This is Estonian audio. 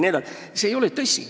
See ei ole tõsi.